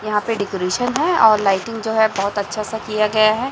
यहां पे डेकोरेशन है और लाइटिंग जो है बहुत अच्छा सा किया गया है।